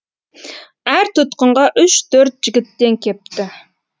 әр тұтқынға үш төрт жігіттен кепті